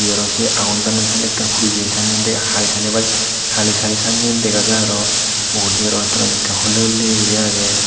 aro se agon donney senekke puri jeye sanney halisali bh haalisali sanyen dega jaar aro mugudi rongutte gani hulley hulley guri agey.